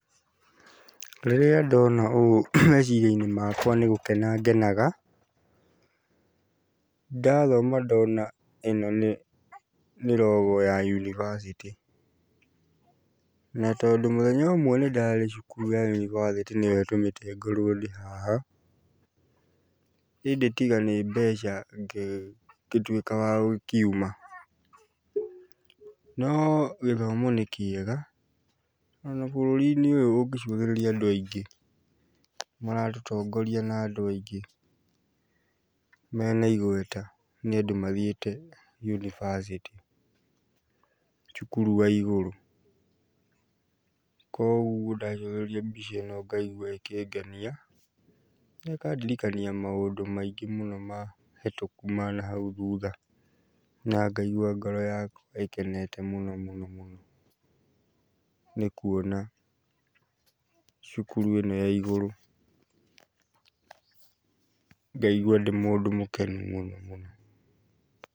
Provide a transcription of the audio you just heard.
Rĩrĩa ndona ũũ meciria-inĩ makwa nĩgũkena ngenaga. Ndathoma ndona ĩno nĩ, nĩ rogo ya yunibacĩtĩ. Na tondũ mũthenya ũmwe nĩ ndarĩ cukuru ya yunibacĩtĩ nĩyo ĩtũmĩte ngorwo ndĩ haha, indĩ tiga nĩ mbeca ngĩtuĩka wa gũkiuma. No gĩthomo nĩ kĩega, ona bũrũri-inĩ ũyũ ũngĩcũthĩrĩria andũ aingĩ maratũtongoria na andũ aingĩ mena igweta nĩ andũ mathiĩte yunibacĩtĩ, cukuru wa igũrũ, koguo ndacũthĩrĩria mbica ĩno ngaigua ĩkĩngenia na ĩkandirikania maũndũ maingĩ mũno mahĩtũku na ma nahau thutha na ngaigua ngoro yakwa ĩkenete mũno mũno mũno, nĩ kuona cukuru ĩno ya igũrũ ngaigua ndĩ mũndũ mũkenu mũno mũno mũno.